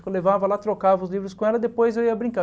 Eu levava lá, trocava os livros com ela e depois eu ia brincar.